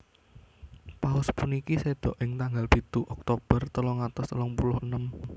Paus puniki séda ing tanggal pitu Oktober telung atus telung puluh enem